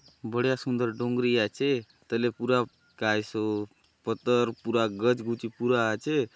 बड़िया सुंदर डोंगरी आचे तले पूरा कायसो पतर पूरा गज गुचा पूरा आचे।